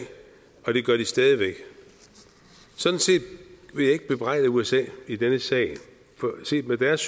og det gør de stadig væk sådan set vil jeg ikke bebrejde usa i denne sag for set med deres